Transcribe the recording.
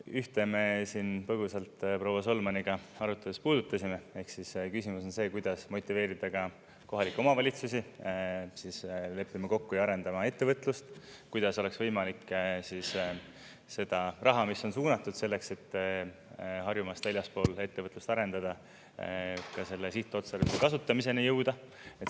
Ühte me siin põgusalt proua Solmaniga arutades puudutasime ehk siis küsimus on see, kuidas motiveerida ka kohalikke omavalitsusi leppima kokku ja arendama ettevõtlust, kuidas oleks võimalik seda raha, mis on suunatud selleks, et Harjumaast väljaspool ettevõtlust arendada, ka selle sihtotstarbelise kasutamiseni jõuda.